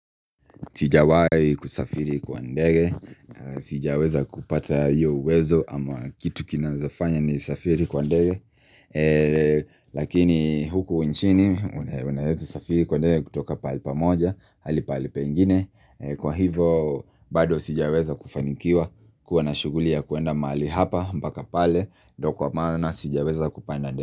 Sijawahi kusafiri kwa ndege, sijaweza kupata hiyo uwezo ama kitu kinawezafanya nisafiri kwa ndege Lakini huku nchini, unaweza safiri kwa ndege kutoka pahali pamoja, hadi pahali pengine Kwa hivo, bado sijaweza kufanikiwa, kuwa na shughuli ya kuenda mali hapa, mpaka pale, ndo kwa maana sijaweza kupanda ndege.